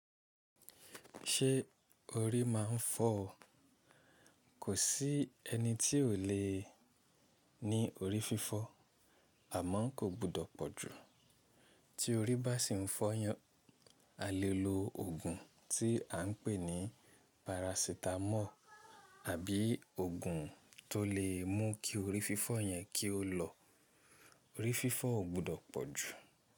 Ṣé orí máa ń fọ́ ọ? Kò sí ẹni tí ò le ní orí fífọ́ àmọ́ kò gbọdọ̀ pọ̀ jù. Tí orí bá sì ń fọ́ yan, a lè lo òògùn tí à ń pè ní parasitamọ́ọ̀ àbí òògùn tó lè mú kí orí fífọ́ yẹn kí ó lọ. Orí fífọ́ ò gbọdọ̀ pọ̀ jù.